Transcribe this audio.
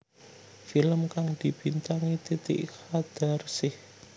Film kang dibintangi Titi Qadarsih